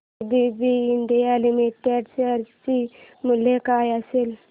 ABB India limited share चे मूल्य काय असेल